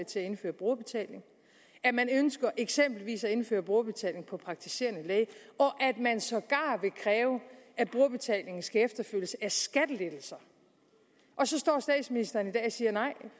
til at indføre brugerbetaling at man eksempelvis ønsker at indføre brugerbetaling på praktiserende læge og at man sågar vil kræve at brugerbetaling skal efterfølges af skattelettelser og så står statsministeren i dag og siger at nej